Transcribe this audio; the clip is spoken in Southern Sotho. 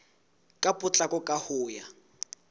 ka potlako ka ho ya